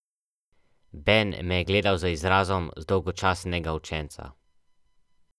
Ben me je gledal z izrazom zdolgočasenega učenca.